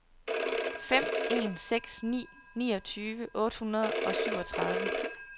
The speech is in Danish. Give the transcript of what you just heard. fem en seks ni niogtyve otte hundrede og syvogtredive